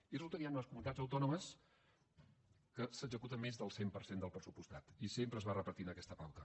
i resulta que hi han unes comunitats autònomes on s’executa més del cent per cent del pressupostat i sempre es va repetint aquesta pauta